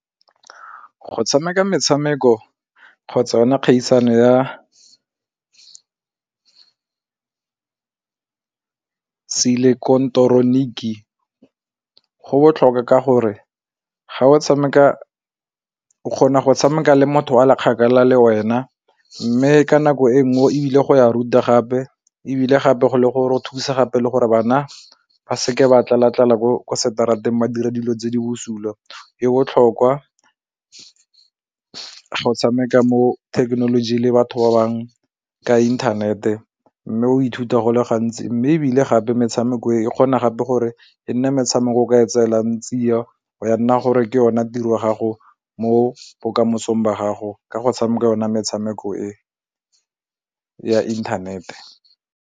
Go tshameka metshameko kgotsa yona kgaisano ya seileketeroniki go botlhokwa ka gore o kgona go tshameka le motho a le kgakala le wena mme ka nako e nngwe o ebile go ya rute gape ebile gape go le gore go thusa gape le gore bana ba seke ba tlala-tlala ko kwa seterateng ba dira dilo tse di bosula e botlhokwa ga o tshameka mo thekenoloji le batho ba bangwe ka inthanete mme o ithuta go le gantsi mme ebile gape metshameko e e kgona gape gore e nne metshameko ka e tseelang tsia ya nna gore ke yona tiro ya gago mo bokamosong ba gago ka go tshameka yona metshameko e ya inthanete.